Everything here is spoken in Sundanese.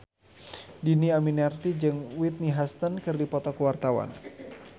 Dhini Aminarti jeung Whitney Houston keur dipoto ku wartawan